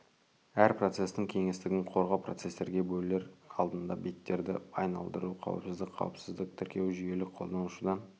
әр процестің кеңістігін қорғау процестерге бөлер алдында беттерді айналдыру қауіпсіздік қауіпсіздік тіркеу жүйелік қолданушыдан